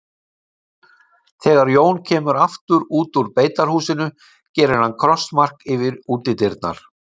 Þegar Jón kemur aftur út úr beitarhúsinu gerir hann krossmark yfir útidyrnar.